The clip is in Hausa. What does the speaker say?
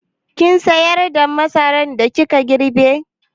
Kin sayar da masaran da kika girbe?